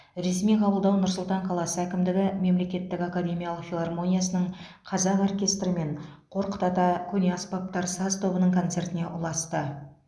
ресми қабылдау нұр сұлтан қаласы әкімдігі мемлекеттік академиялық филармониясының қазақ оркестрі мен қорқыт ата көне аспаптар саз тобының концертіне ұласты